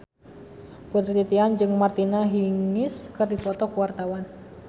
Putri Titian jeung Martina Hingis keur dipoto ku wartawan